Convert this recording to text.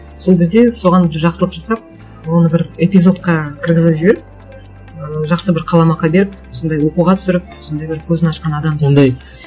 сол кезде соған жақсылық жасап оны бір эпизодқа кіргізіп жіберіп ы жақсы бір қаламақы беріп сондай оқуға түсіріп сондай бір көзін ашқан адам деп ондай